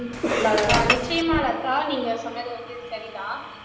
ஆஹ் நிச்சயமா லதா நீங்க சொன்னது வந்து சரிதான்